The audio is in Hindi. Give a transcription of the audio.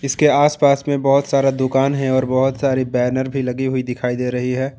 इसके आस पास में बहुत सारा दुकान है और बहुत सारी बैनर भी लगी हुई दिखाई दे रही हैं।